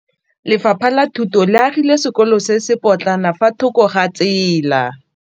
Bagolo ba ne ba gakgamala fa Pusô e fedisa thutô ya Bodumedi kwa dikolong.